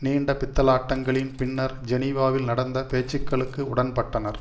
நீண்ட பித்தலாட்டங்களின் பின்னர் ஜெனீவாவில் நடந்த பேச்சுக்களுக்கு உடன்பட்டனர்